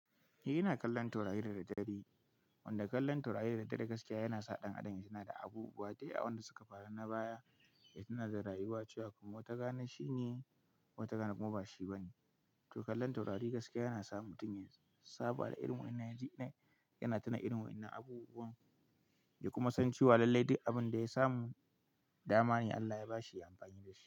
Eh ina kallon taurari da daddare. Wanda kallon taurari da daddare gaskiya yana sa ɗan adam ya tuna da abubuwa da yawa wanda suka faru na baya, ya tuna da rayuwa cewa kuma wata rana shine, wata rana kuma ba shi ba ne. To kallon taurari gaskiya yana sa mutum ya saba da irin waƴanan yana tuna irin waƴanan abubuwan, ya kuma san cewa lallai duk abin da ya samu, dama ne Allah ya ba shi ya yi amfani da shi.